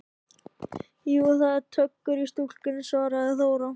Jú, það er töggur í stúlkunni, svaraði Þóra.